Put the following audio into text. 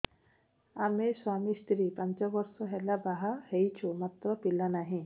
ଆମେ ସ୍ୱାମୀ ସ୍ତ୍ରୀ ପାଞ୍ଚ ବର୍ଷ ହେଲା ବାହା ହେଇଛୁ ମାତ୍ର ପିଲା ନାହିଁ